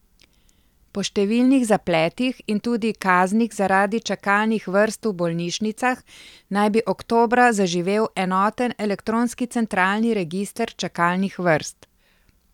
Po številnih zapletih in tudi kaznih zaradi čakalnih vrst v bolnišnicah, naj bi oktobra zaživel enoten elektronski centralni register čakalnih vrst.